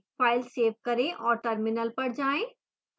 file save करें और terminal पर जाएं